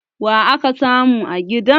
wa aka samu a gidan?